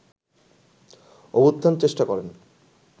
অভ্যুত্থানের চেষ্টা করেন